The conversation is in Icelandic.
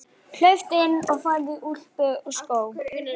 Hlauptu inn og farðu í úlpu og skó.